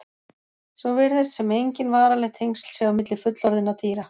Svo virðist sem engin varanleg tengsl séu á milli fullorðinna dýra.